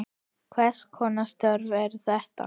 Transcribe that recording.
Hvers konar störf eru þetta?